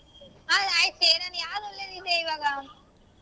ಹಾ ಆಯ್ತು ಸೇರೋಣ ಈವಾಗ.